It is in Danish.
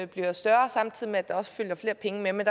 bliver større samtidig med at der følger flere penge med men